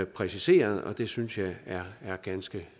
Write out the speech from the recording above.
præciseret og det synes jeg er ganske